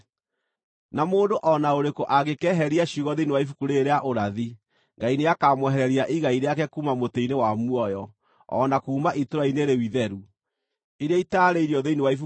Na mũndũ o na ũrĩkũ angĩkeeheria ciugo thĩinĩ wa ibuku rĩĩrĩ rĩa ũrathi, Ngai nĩakamwehereria igai rĩake kuuma mũtĩ-inĩ wa muoyo, o na kuuma itũũra-inĩ rĩu itheru, iria itaarĩirio thĩinĩ wa ibuku rĩĩrĩ.